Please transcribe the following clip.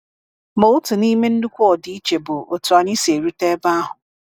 Ma otu n’ime nnukwu ọdịiche bụ otú anyị si erute ebe ahụ.